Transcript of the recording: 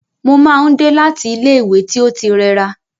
Mo máa n dé láti ilẹ ìwé tí o ti rẹra.